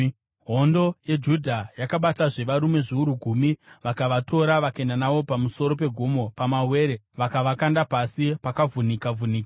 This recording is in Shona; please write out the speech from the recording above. Hondo yeJudha yakabatazve varume zviuru gumi vakavatora vakaenda navo pamusoro pegomo pamawere vakavakanda pasi pakavhunika-vhunika.